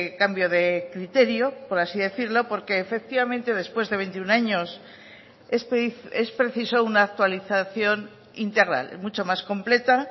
cambio de criterio por así decirlo porque efectivamente después de veintiuno años es preciso una actualización integral mucho más completa